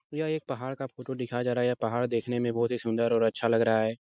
यह एक पहाड़ का फ़ोटो दिखाया जा रहा है। यह पहाड़ देखने में बहुत ही सुन्दर और अच्छा लग रहा है।